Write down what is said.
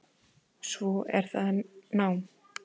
Svo er það nám.